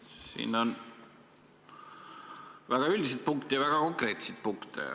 Siin on väga üldiseid punkte ja väga konkreetseid punkte.